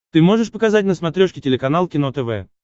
ты можешь показать на смотрешке телеканал кино тв